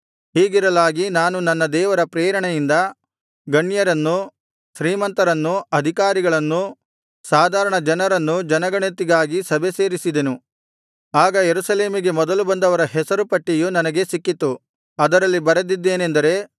ಹೀಗಿರಲಾಗಿ ನಾನು ನನ್ನ ದೇವರ ಪ್ರೇರಣೆಯಿಂದ ಗಣ್ಯರನ್ನು ಶ್ರೀಮಂತರನ್ನೂ ಅಧಿಕಾರಿಗಳನ್ನೂ ಸಾಧಾರಣ ಜನರನ್ನೂ ಜನಗಣತಿಗಾಗಿ ಸಭೆಸೇರಿಸಿದನು ಆಗ ಯೆರೂಸಲೇಮಿಗೆ ಮೊದಲು ಬಂದವರ ಹೆಸರುಗಳ ಪಟ್ಟಿಯು ನನಗೆ ಸಿಕ್ಕಿತು ಅದರಲ್ಲಿ ಬರೆದಿದ್ದೇನೆಂದರೆ